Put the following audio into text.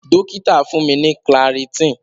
Dokita fun mi ni clarityn.